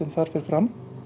þar fer fram